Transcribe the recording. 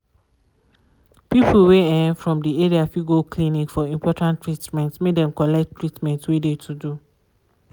people wey um from de area fit go clinic for important treatment make dem collect treament wey de to do.